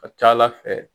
Ka ca ala fɛ